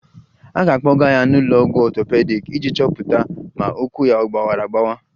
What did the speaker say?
A ga-akpọga ya n'ụlọ ọgwụ ọtọpedic iji chọpụta ma ụkwụ ya gbawara agbawa